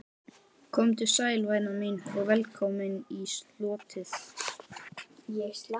Komdu sæl, væna mín, og velkomin í slotið.